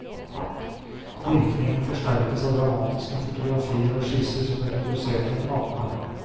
Virkningen forsterkes av dramatiske fotografier og skisser som ble produsert under kampene.